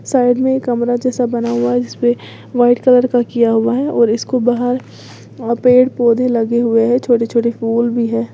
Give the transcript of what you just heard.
Side में एक कमरा जैसा बना हुआ है जिसपे वाइट कलर का किया हुआ है और इसको बाहर और पेड़ पौधे लगे हुए हैं छोटे छोटे फूल भी है।